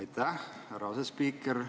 Aitäh, härra asespiiker!